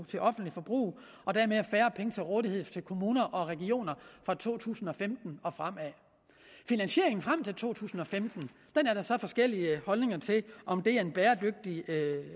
til offentligt forbrug og dermed færre penge til rådighed for kommuner og regioner fra to tusind og femten og frem finansieringen frem til to tusind og femten er der så forskellige holdninger til om det er en bæredygtig